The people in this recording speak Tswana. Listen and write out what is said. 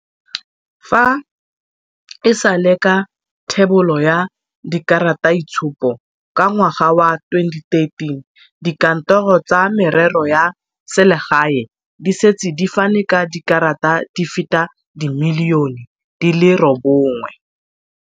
Fa e sale ka thebolo ya dikarataitshupo ka ngwaga wa 2013, dikantoro tsa Merero ya Selegae di setse di fane ka dikarata di feta dimiliyone di le robongwe.